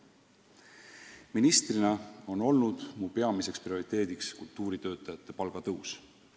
Ministrina on mu peamine prioriteet olnud kultuuritöötajate palga tõus.